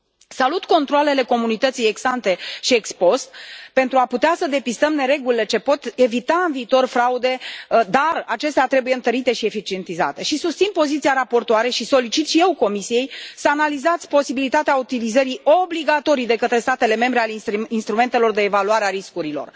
Salut controalele comunității ex ante și ex post pentru a putea să depistăm neregulile ce pot evita în viitor fraude, dar acestea trebuie întărite și eficientizate și susțin poziția raportoarei și solicit și eu Comisiei să analizați posibilitatea utilizării obligatorii de către statele membre a instrumentelor de evaluare a riscurilor.